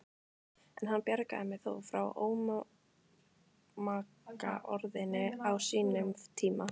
En hann bjargaði mér þó frá ómagaorðinu á sínum tíma.